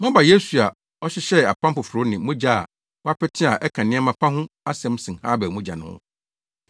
Moaba Yesu a ɔhyehyɛɛ apam foforo ne mogya a wɔapete a ɛka nneɛma pa ho asɛm sen Habel mogya no ho.